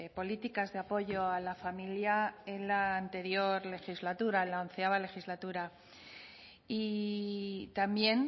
políticas de apoyo a la familia en la anterior legislatura en la onceava legislatura y también